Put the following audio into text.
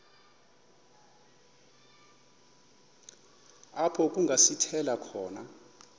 apho kungasithela khona